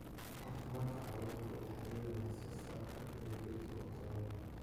Caafimaadka xooluhu waxa uu la xidhiidhaa wax soo saarka beeraha oo tayo leh.